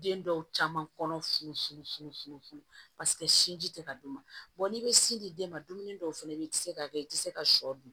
Den dɔw caman kɔnɔ fununfunun funun funun funu paseke sinji tɛ ka d'u ma n'i bɛ sin di den ma dumuni dɔw fana bɛ yen i tɛ se k'a kɛ i tɛ se ka sɔ dun